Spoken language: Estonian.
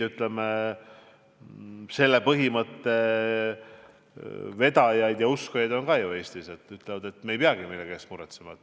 Selle mõtteviisi vedajaid ja uskujaid on ka Eestis, nad ütlevad, et me ei pea millegi pärast muretsema.